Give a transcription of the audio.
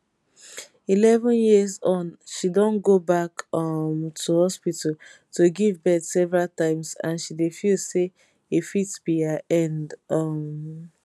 eleven years on she don go back um to hospital to give birth several times and she dey feel say e fit be her end um